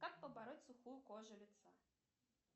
как побороть сухую кожу лица